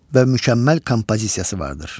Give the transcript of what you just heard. və mükəmməl kompozisiyası vardır.